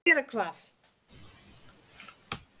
Að gera hvað?